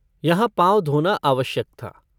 यहाँ पाँव धोना आवश्यक था।